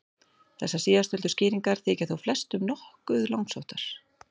Þessar síðasttöldu skýringar þykja þó flestum nokkuð langsóttar.